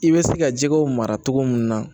I bɛ se ka jɛgɛw mara cogo min na